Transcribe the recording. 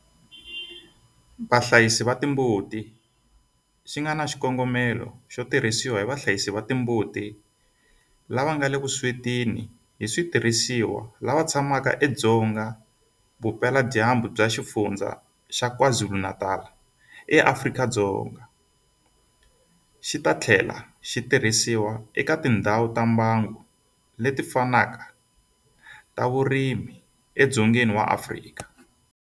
Vahlayisi va timbuti xi nga na xikongomelo xo tirhisiwa hi vahlayisi va timbuti lava nga le vuswetini hi switirhisiwa lava tshamaka edzonga vupeladyambu bya Xifundzha xa KwaZulu-Natal eAfrika-Dzonga, xi ta tlhela xi tirhisiwa eka tindhawu ta mbango leti fanaka ta vurimi edzongeni wa Afrika.